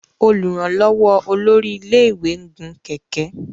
olùrànlówó olórí ilé ìwé ń gun kẹ̀kẹ́